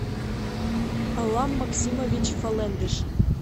алам максимович фалендыш